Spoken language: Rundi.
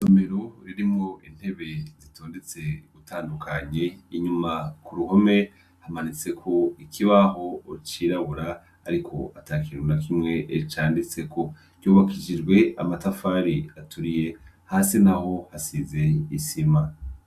Isomero ririmwo intebe zitondetse ugutandukanye inyuma kuruhome hamanitse ikiubaho cirabura Ariko atakintu nakimw canditseko ryubakishijwe amatafari aturiye hasi naho hasize isima.